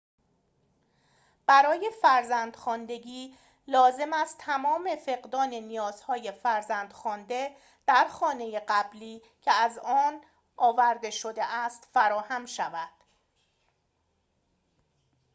برای فرزند‌خواندگی لازم است تمام فقدان نیازهای فرزند‌خوانده در خانه قبلی که از آن آورده شده است فراهم شود